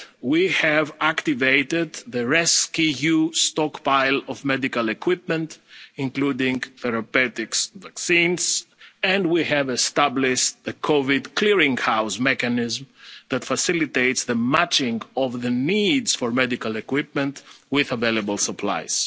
treatments. We have activated the rescEU stockpile of medical equipment, including therapeutics and vaccines, and we have established a COVID clearing house mechanism that facilitates the matching of the needs for medical equipment with available